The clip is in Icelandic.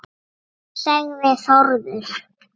sagði Þórður